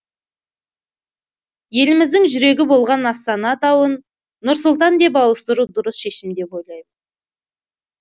еліміздің жүрегі болған астана атауын нұр сұлтан деп ауыстыру дұрыс шешім деп ойлаймын